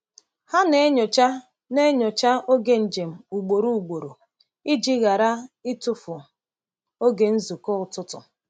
Ha na-enyocha na-enyocha oge njem ugboro ugboro iji ghara ịtụfu oge nzukọ ụtụtụ.